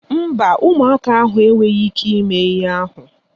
Mba, ụmụaka ahụ enweghị ịke ime ihe ahụ.